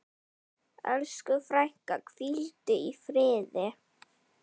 Elsku frænka, hvíldu í friði.